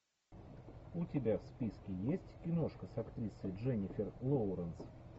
у тебя в списке есть киношка с актрисой дженнифер лоуренс